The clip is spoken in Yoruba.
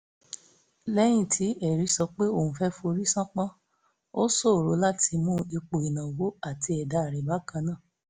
lẹ́yìn tí hèrì sọ pé òun fẹ́ forí ṣánpọ́ ó ṣòro láti mú ipò ìnáwó àti ẹ̀dá rẹ̀ bákan náà